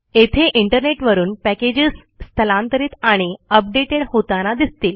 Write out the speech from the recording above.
येथे इंटरनेटवरून पॅकेजेस स्थलांतरीत आणि updatedहोताना दिसतील